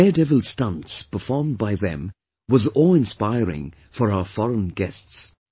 Daredevil stunts performed by them was awe inspiring for our foreign guests